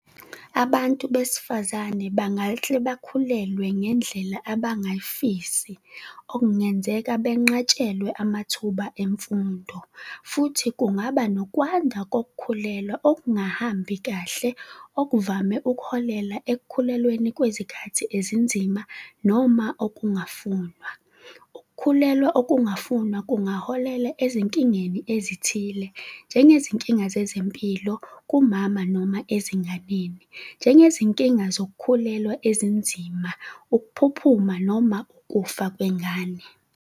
Abantu besifazane bangahle bakhulelwe ngendlela abayingafisi okungenzeka benqatshelwe amathuba emfundo futhi kungaba nokwanda kokukhulelwa okungahambi kahle, okuvame ukuholela ekukhulelweni kwezikhathi ezinzima noma okungafunwa. Ukukhulelwa okungafunwa kungaholela ezinkingeni ezithile, njengezinkinga zezempilo kumama noma ezinganeni, njengezinkinga zokukhulelwa ezinzima, ukuphuphuma noma ukufa kwengane.